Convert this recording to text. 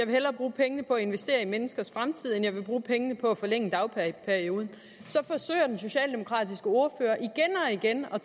hellere bruge pengene på at investere i menneskers fremtid end hun vil bruge pengene på at forlænge dagpengeperioden så forsøger den socialdemokratiske ordfører igen og